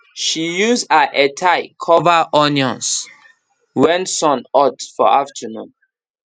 she use her headtie cover onions when sun hot for afternoon